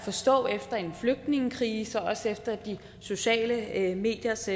forstå efter en flygtningekrise og også efter de sociale mediers